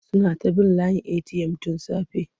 Suna ta bin layin eti'yam tun safe.